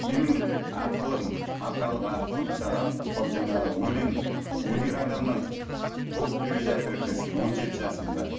менің ақылым аталық ақылым саған сол жаңағы өлең өнер адамы болып келе жатыр екенсің он жеті жасыңда